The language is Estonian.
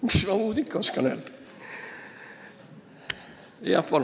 Mis ma muud ikka öelda oskan.